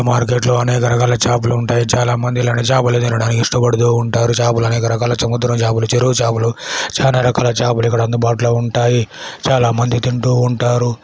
Market లో అనేక రకాల చాపలు ఉంటాయి. చాలామంది ఇలాంటి చాపలు తినడానికి ఇష్టపడుతుంటారు. చాపాలు అనేక రకాల సముద్ర చాపలు చెరువు చాపలు చాలా రకాల చాపలు ఇక్కడ అందుబాటులో ఉంటాయి. చాలామంది తింటూ ఉంటారు.